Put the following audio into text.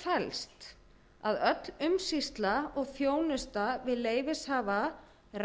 felst að öll umsýsla og þjónusta við leyfishafa